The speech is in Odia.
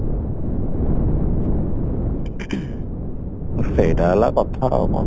ସେଇଟା ହେଳା କଥା ଆଉ କଣ